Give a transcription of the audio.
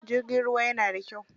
Jirgin ruwan yana da kyau.